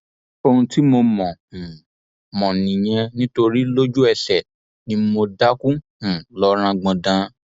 ohun tí mo mọ um mọ nìyẹn nítorí lójúẹsẹ ni mo dákú um lọ rangbọndan